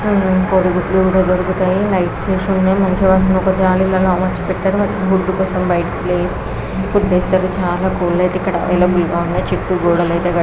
కోడి గుడ్లు దొరుకుతాయ్ లైట్ మంచి గా మార్చారుకొల్లు అవుతేఈక్కడ వీల్ గా ఉన్నాయ్.